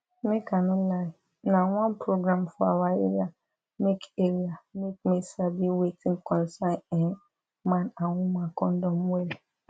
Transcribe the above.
make i no lie na one program for awa area make area make me sabi wetin concern[um]man and woman condom well